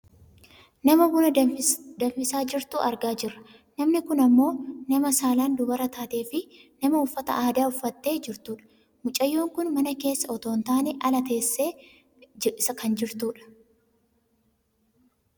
Nama buna danfisaa jirtu argaa jirra. Namni kun ammoo nama saalaan dubara taateefi nama uffata aadaa uffattee jirtudha. Mucayyoon kun mana keessa otoo hin taane ala isaa teessee kan jirtudha.